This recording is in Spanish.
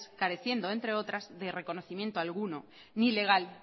careciendo entre otras de reconocimiento alguno ni legal